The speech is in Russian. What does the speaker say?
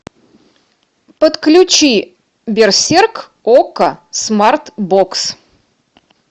подключи берсерк окко смарт бокс